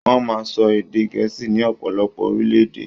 Wọ́n máa ń sọ ède Gẹ́ẹ̀sì ní ọ̀pọ̀lọpọ̀ orílẹ̀-èdè.